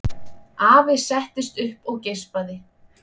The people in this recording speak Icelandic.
Afi settist upp og geispaði.